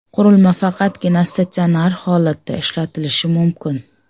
Qurilma faqatgina statsionar holatda ishlatilishi mumkin.